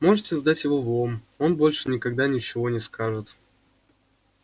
можете сдать его в лом он больше никогда ничего не скажет